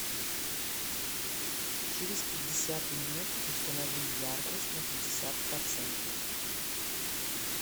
через пятьдесят минут установи яркость на пятьдесят процентов